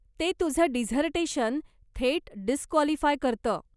ते तुझं डिझर्टेशन थेट डिसक्वालिफाय करतं.